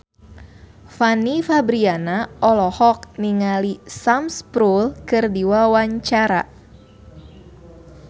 Fanny Fabriana olohok ningali Sam Spruell keur diwawancara